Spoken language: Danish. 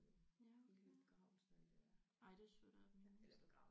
Ja okay ja. Ej det er sødt af dem i det mindste